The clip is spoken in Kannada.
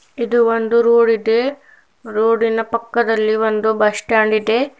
ಇದು ಒಂದು ರೋಡ್ ಇದೆ ರೋಡಿ ನ ಪಕ್ಕದಲ್ಲಿ ಒಂದು ಬಸ್ ಸ್ಟ್ಯಾಂಡ್ ಇದೆ.